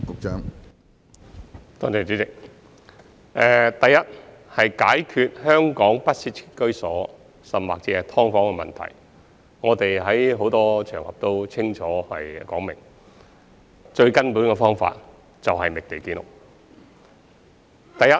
主席，首先，關於解決香港不適切居所甚或"劏房"的問題，我們在很多場合已清楚表明，最根本的方法是覓地建屋。